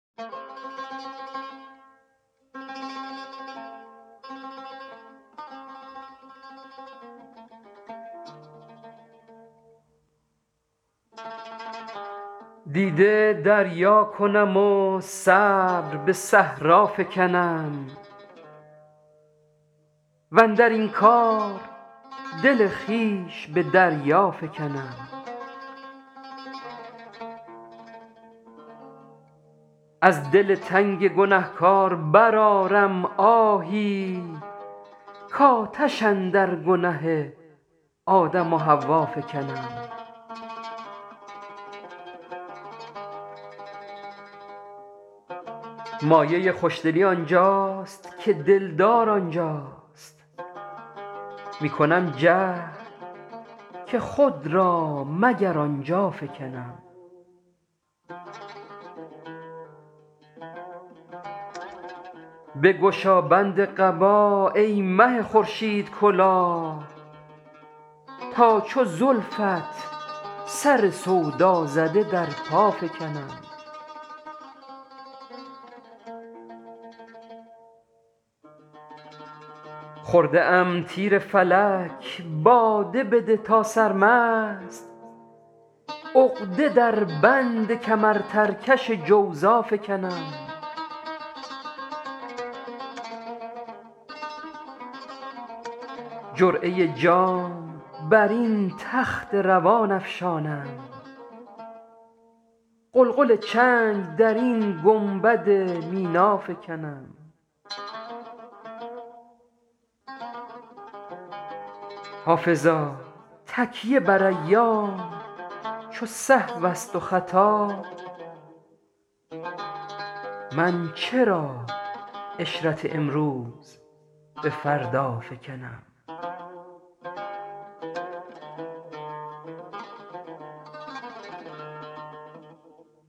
دیده دریا کنم و صبر به صحرا فکنم واندر این کار دل خویش به دریا فکنم از دل تنگ گنه کار برآرم آهی کآتش اندر گنه آدم و حوا فکنم مایه خوش دلی آن جاست که دل دار آن جاست می کنم جهد که خود را مگر آن جا فکنم بگشا بند قبا ای مه خورشیدکلاه تا چو زلفت سر سودا زده در پا فکنم خورده ام تیر فلک باده بده تا سرمست عقده در بند کمرترکش جوزا فکنم جرعه جام بر این تخت روان افشانم غلغل چنگ در این گنبد مینا فکنم حافظا تکیه بر ایام چو سهو است و خطا من چرا عشرت امروز به فردا فکنم